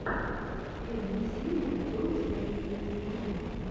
первая серия тойс мэйк ми смайл